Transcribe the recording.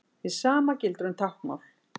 Hið sama gildir um táknmál.